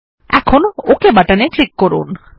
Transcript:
এখন ওক বাটনে ক্লিক করুন